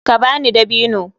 Ka ba ni dabino.